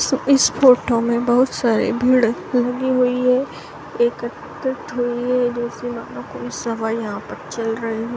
स इस फोटो में बहुत सारी भीड़ लगी हुई हैं कोई सभा यहाँ पे चल रही है।